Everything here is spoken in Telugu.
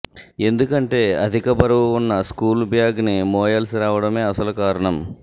ఎందుకంటే అధిక బరువు ఉన్న స్కూల్ బ్యాగ్ని మోయాల్సిరావటమే అసలు కారణం